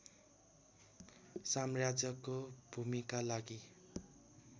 साम्राज्यको भूमिका लागि